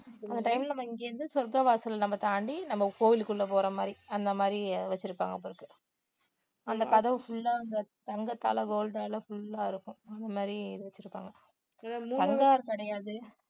அந்த time ல இங்க இருந்து சொர்க்கவாசல் நம்ம தாண்டி நம்ம கோயிலுக்குள்ள போற மாதிரி அந்த மாதிரி வச்சிருப்பாங்க போல இருக்கு அந்த கதவு full ஆ அந்த தங்கத்தால gold ஆல full ஆ இருக்கும் அந்த மாதிரி இது வச்சிருக்காங்க கிடையாது